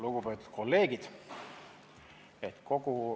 Lugupeetud kolleegid!